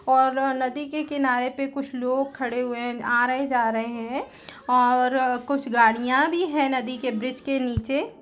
और नदी कि किनारे पे कुछ लोग खड़े हुए है आ रहे जा रहे हैं और कुछ गाड़ियां भी हैं नदी के ब्रिज के नीचे।